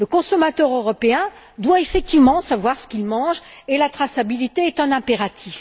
Le consommateur européen doit savoir ce qu'il mange et la traçabilité est un impératif.